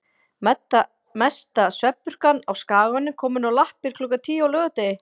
Mesta svefnpurkan á Skaganum komin á lappir klukkan tíu á laugardegi.